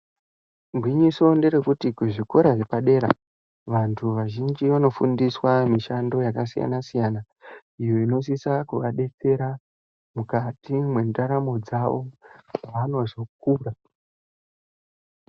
Gwinyiso nderekuti kuzvikora zvepadera, vantu vazhinji vanofundiswa mishando yakasiyana siyana, iyo inosisa kuadetsera mwukati mwendaramo dzawo, paanozokura.